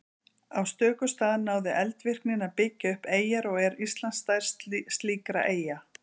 Á stöku stað náði eldvirknin að byggja upp eyjar og er Ísland stærst slíkra eyja.